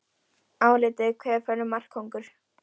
Álitið: Hver verður markakóngur?